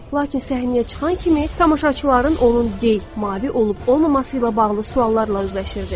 Lakin səhnəyə çıxan kimi tamaşaçıların onun gey, mavi olub-olmaması ilə bağlı suallarla üzləşirdi.